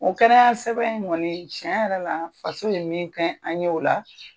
O kɛnɛya sɛbɛn in kɔni tiɲɛ yɛrɛ la faso ye min kɛ an ye o la.